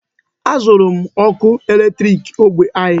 E zụrụ m ọkụ eletriki ógbè anyị.